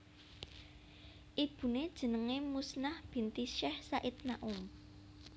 Ibuné jenengé Muznah binti Syech Said Naum